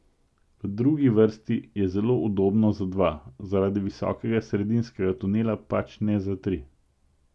V drugi vrsti je zelo udobno za dva, zaradi visokega sredinskega tunela pač ne za tri.